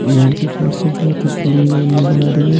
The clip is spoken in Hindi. यहाँ की फर्स्ट से बहुत ही क्लीन नजर आ रही है।